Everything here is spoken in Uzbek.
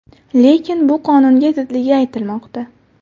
Lekin bu qonunga zidligi aytilmoqda.